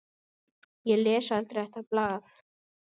Ég les aldrei þetta blað.